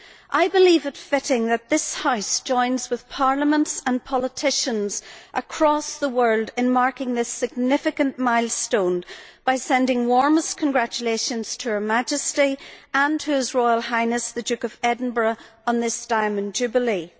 I believe it fitting that this House join with parliaments and politicians across the world in marking this significant milestone by sending warmest congratulations to Her Majesty and to His Royal Highness the Duke of Edinburgh on this Diamond Jubilee.